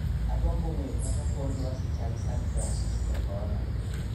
agombo ng'eyo kaka kor lwasi chal san fransisko kono